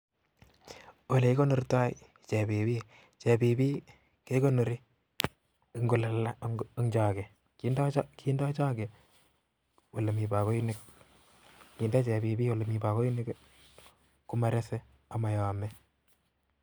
Olekikonortai chebibi kindoi Choge olemiii bagoinik amun lalangak. amagoi Korea amayamee